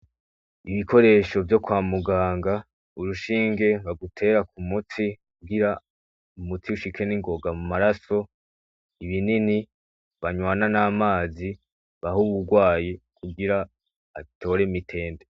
Ibikoresho vyo kwa muganga , urushinge bagutera k'umutsi kugira umuti ushike ningoga mumaraso, ibinini banwana n'amazi baha uwurwaye kugire atore mitende.